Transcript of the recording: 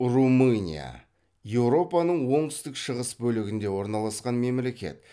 румыния еуропаның оңтүстік шығыс бөлігінде орналасқан мемлекет